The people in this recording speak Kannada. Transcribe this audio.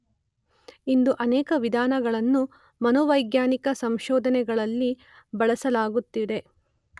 ಇಂದು ಅನೇಕ ವಿಧಾನಗಳನ್ನು ಮನೋವೈಜ್ಞಾನಿಕ ಸಂಶೋಧನೆಗಳಲ್ಲಿ ಬಳಸಲಾಗುತ್ತಿದೆ.